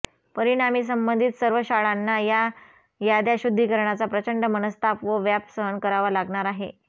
परिणामी संबंधित सर्व शाळांना या याद्या शुद्धीकरणाचा प्रचंड मनस्ताप व व्याप सहन करावा लागणार आहे